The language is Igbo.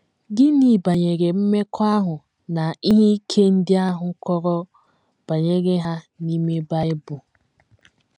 Gịnị Banyere Mmekọahụ na Ihe Ike Ndị A Kọrọ Banyere Ha n’Ime Bible?